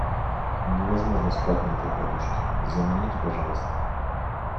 невозможно спать на этой подушке замените пожалуйста